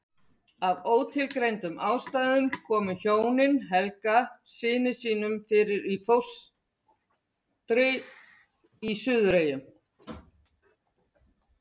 Af ótilgreindum ástæðum komu hjónin Helga syni sínum fyrir í fóstri í Suðureyjum.